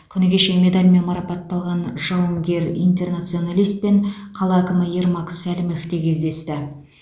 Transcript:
күні кеше медальмен марапатталған жауынгер интернационалистпен қала әкімі ермак сәлімов те кездесті